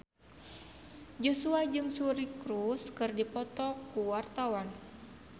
Joshua jeung Suri Cruise keur dipoto ku wartawan